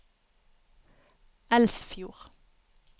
Elsfjord